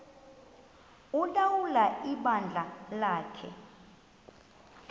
ulawula ibandla lakhe